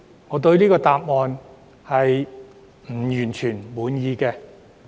我對這個答案並不完全滿意。